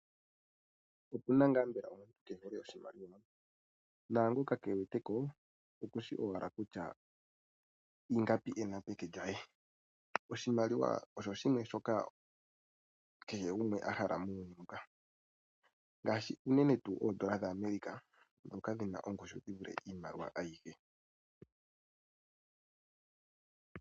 Opuna ngaa mbela omuntu keehole oshimaliwa? Naangoka keewete ko okushi owala kutya ingapi ena peke lye. Oshimaliwa osho shimwe shoka kehe gumwe a hala muuyuni muka. Ngaashi uunene tuu oondola dhaAmerica ndhoka dhina ongushu yi vule iimaliwa ayihe.